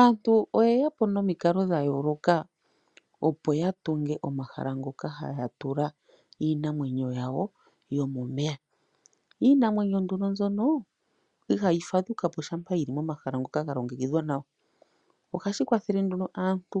Aantu oye yapo nomikala dhayooloka opo yatunge omahala ngoka haya tula iinamwenyo yawo yomomeya. Iinamwenyo nduno mbyono, ihayi fadhukapo shampa yili momahala ngoka galongekidhwa nawa. Ohashi kwathele aantu